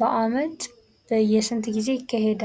በዓመት በየስንት ጊዜ ይካሄዳ?.